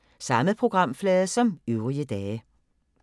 Samme programflade som øvrige dage